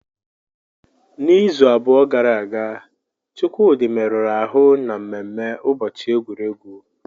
N'izu abụọ gara aga, Chukwudi merụrụ ahụ na mmemme ụbọchị egwuregwu.